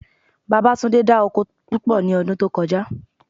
Babátúndé dá oko púpọ̀ ní ọdún tó kọjá